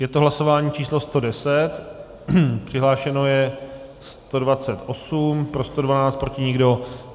Je to hlasování číslo 110, přihlášeno je 128, pro 112, proti nikdo.